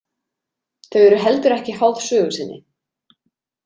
Þau eru heldur ekki háð sögu sinni.